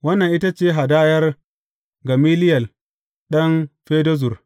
Wannan ita ce hadayar Gamaliyel ɗan Fedazur.